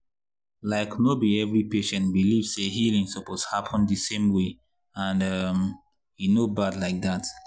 like no be every patient believe say healing suppose happen the same way and um e no bad like that.